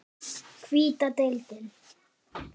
Kæri Jón.